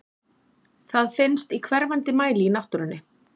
Það finnst í hverfandi mæli í náttúrunni.